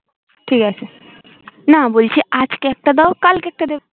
ঠিক আছে না বলছি আজকে একটা দাও কালকে একটা দেবে